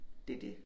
Det det